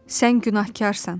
Sən günahkarsan.